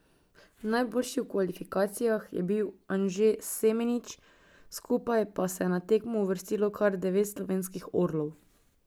Najboljši v kvalifikacijah je bil Anže Semenič, skupaj pa se je na tekmo uvrstilo kar devet slovenskih orlov.